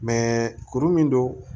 kuru min don